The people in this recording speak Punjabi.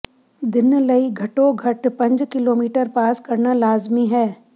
ਦਿਨ ਲਈ ਘੱਟੋ ਘੱਟ ਪੰਜ ਕਿਲੋਮੀਟਰ ਪਾਸ ਕਰਨਾ ਲਾਜ਼ਮੀ ਹੈ